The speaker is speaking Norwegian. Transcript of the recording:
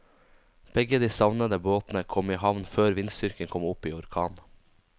Begge de savnede båtene kom i havn før vindstyrken kom opp i orkan.